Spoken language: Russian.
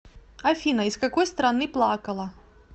афина из какой страны плакала